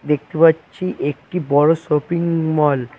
দেখতে পাচ্ছি একটি বড় শপিং মল ।